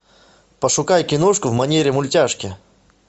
пошукай киношку в манере мультяшки